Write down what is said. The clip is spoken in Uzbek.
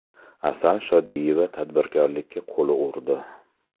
Asal Shodiyeva tadbirkorlikka qo‘l urdi.